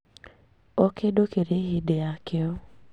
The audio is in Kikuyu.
Okĩndũ kĩrĩ hĩndĩ yakĩo